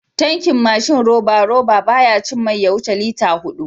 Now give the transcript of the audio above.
Tankin mashin roba-roba, baya cin mai ya wuce litata huɗu.